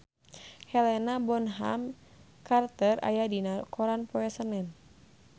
Helena Bonham Carter aya dina koran poe Senen